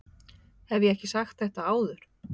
Hef ég ekki sagt þetta áður?